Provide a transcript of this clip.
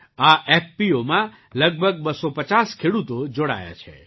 આ એફપીઓમાં લગભગ 250 ખેડૂતો જોડાયા છે